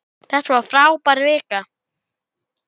Þetta var frábær vika.